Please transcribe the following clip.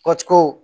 Kɔci ko